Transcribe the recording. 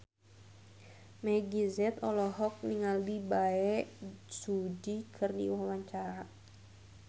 Meggie Z olohok ningali Bae Su Ji keur diwawancara